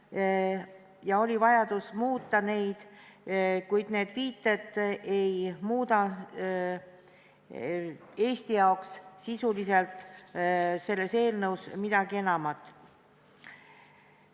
Nende järele oli vajadus, kuid need ei muuda Eesti jaoks sisuliselt selles eelnõus midagi enamat.